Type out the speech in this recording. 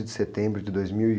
de setembro de dois mil e